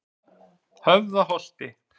Höfðaholti